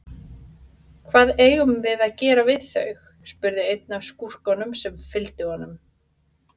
Hvað eigum við að gera við þau, spurði einn af skúrkunum sem fylgdu honum.